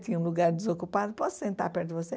Tem um lugar desocupado, posso sentar perto de você?